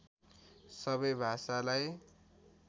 सबै भाषालाई